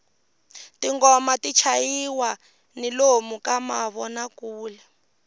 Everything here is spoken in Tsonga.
tinghoma ti chayisiwa ni lomu ka mavonakule